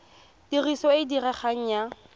tiriso e e diregang ya